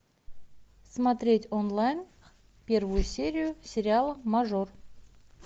смотреть онлайн первую серию сериала мажор